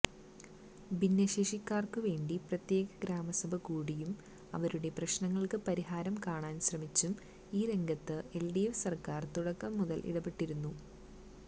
ഭിന്നശേഷിക്കാര്ക്കുവേണ്ടി പ്രത്യേക ഗ്രാമസഭ കൂടിയും അവരുടെ പ്രശ്നങ്ങള്ക്ക് പരിഹാരം കാണാന് ശ്രമിച്ചും ഈ രംഗത്ത് എല്ഡിഎഫ് സര്ക്കാര് തുടക്കംമുതല് ഇടപെട്ടിരുന്നു